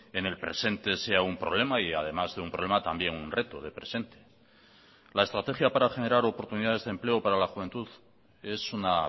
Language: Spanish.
en el presente sea un problema y además de un problema también un reto de presente la estrategia para generar oportunidades de empleo para la juventud es una